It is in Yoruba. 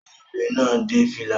Ọmọbìnrin náà dé fìlà